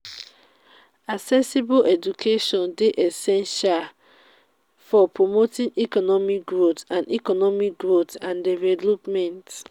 accessible education dey essential for promoting economic growth and economic growth and development.